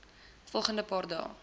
volgende paar dae